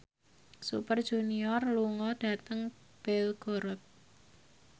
Super Junior lunga dhateng Belgorod